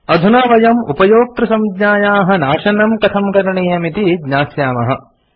अधुना वयम् उपयोक्तृसंज्ञायाः नाशनम् कथं करणीयम् इति ज्ञास्यामः